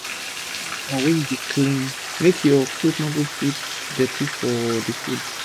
use clean apron when u dey clean make ur cloth no go put dirty for d food